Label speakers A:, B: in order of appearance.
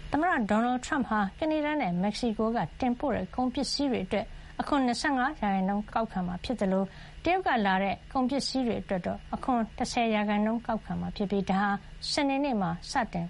A: သမ္မတ ဒေါ်နယ်ထရမ့်ဟာ ကနေဒါနဲ့ မက္ကဆီကိုက တင်ပို့တဲ့ ကုန်ပစ္စည်းတွေကို အခွန် ၂၅ % ကောက်ခံမှာ ဖြစ်သလို တရုတ်ကလာတဲ့ ကုန်ပစ္စည်းတွေအတွက် အခွန် ၁၀% ကောက်ခံမှာဖြစ်ပြီး ဒါဟာ စနေနေ့မှာ စတင်